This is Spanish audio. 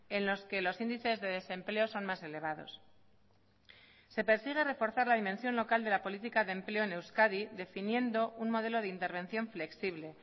en los que los índices de desempleo son más elevados se persigue reforzar la dimensión local de la política de empleo en euskadi definiendo un modelo de intervención flexible